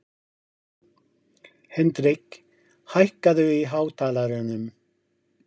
Hendrik, hækkaðu í hátalaranum.